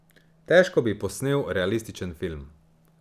Težko bi posnel realističen film.